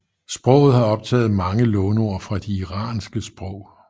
Sproget har optaget mange låneord fra de iranske sprog